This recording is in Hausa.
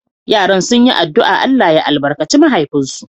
Yaran sun yi addu’a Allah ya albarkace mahaifinsu.